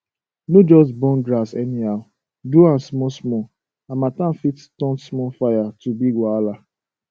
no just burn grass anyhow do am small small harmattan fit turn small fire to big wahala